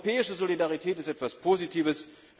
Europäische Solidarität ist etwas Positives.